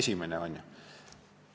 Seda esiteks.